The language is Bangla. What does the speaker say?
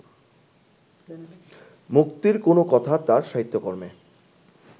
মুক্তির কোনো কথা তাঁর সাহিত্যকর্মে